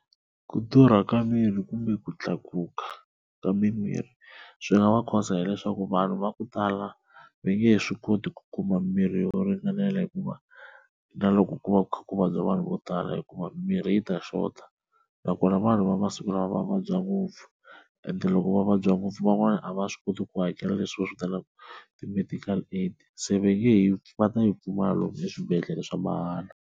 Ku durha ka mirhi kumbe ku tlakuka ka mimirhi swi nga va cause hileswaku vanhu va ku tala va nge he swi koti ku kuma mirhi yo ringanela hikuva na loko ku va ku kha ku vabya vanhu vo tala hikuva mimirhi yi ta xota, nakona vanhu va masiku lama va vabya ngopfu and loko va vabya ngopfu van'wana a va swi koti ku hakela leswi va swivitanaka ti-medical aid se va nge yi va ta yi pfumala lomu swibedhlele swa mahala.